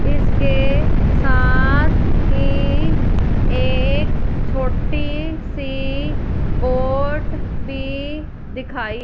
इसके साथ ही एक छोटी सी बोट भी दिखाई--